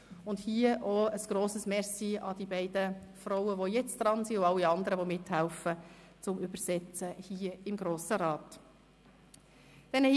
Auch hier ein grosses Merci an die beiden Frauen, die jetzt an der Arbeit sind, und an alle anderen, die bei den Übersetzungen hier im Grossen Rat mithelfen.